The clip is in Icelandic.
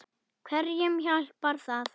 Hverjum hjálpar það?